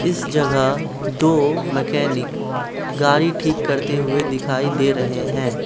इस जगह दो मैकेनिक गाड़ी ठीक करते हुए दिखाई दे रहे हैं।